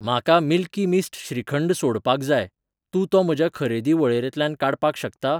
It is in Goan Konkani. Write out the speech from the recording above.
म्हाका मिल्की मिस्ट श्रीखंड सोडपाक जाय, तूं तो म्हज्या खरेदी वळेरेंतल्यान काडपाक शकता?